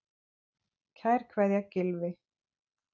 Kær kveðja, Gylfi.